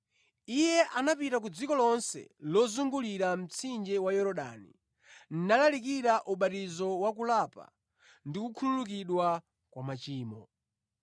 Iye anapita ku dziko lonse lozungulira mtsinje wa Yorodani, nalalikira ubatizo wa kulapa ndi kukhululukidwa kwa machimo.